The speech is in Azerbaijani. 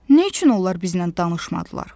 Nə üçün onlar bizlə danışmadılar?